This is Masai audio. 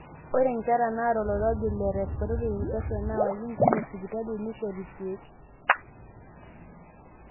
ore nkera naata oloirobi le respiratory infection neewaki nkumok sipitali neishori irkeek